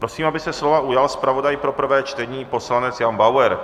Prosím, aby se slova ujal zpravodaj pro prvé čtení poslanec Jan Bauer.